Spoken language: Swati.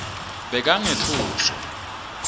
bekangetfuswa